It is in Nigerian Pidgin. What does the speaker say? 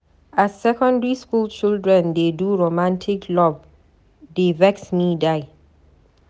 As Secondary school children dey do romantic love dey vex me die.